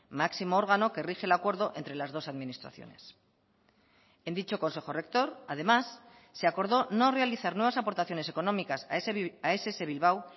máximo órgano que rige el acuerdo entre las dos administraciones en dicho consejo rector además se acordó no realizar nuevas aportaciones económicas a ess bilbao